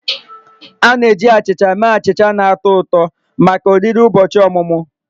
A na-eji achịcha mee achịcha na-atọ ụtọ maka oriri ụbọchị ọmụmụ